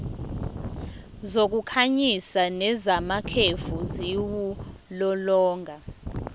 zokukhanyisa nezamakhefu ziwulolonga